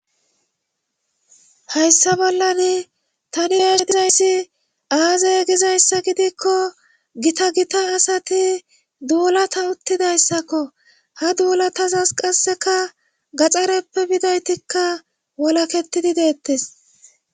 hayssa bollan tani raash dizayssi aazay gizayssa gidikko gita gita asati duulata uttidayssakko ha duulatazas qasseka gaxxareppe bidaytikka wolaketidi deettes